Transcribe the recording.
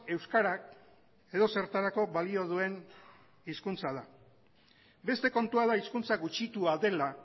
euskarak edozertarako balio duen hezkuntza da beste kontua da hizkuntza gutxitua dela